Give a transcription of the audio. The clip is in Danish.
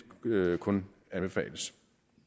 kun anbefales